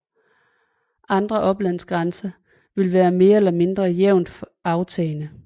Andre oplandsgrænser vil være mere eller mindre jævnt aftagende